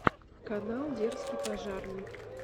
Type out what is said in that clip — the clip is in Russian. канал дерзкий пожарный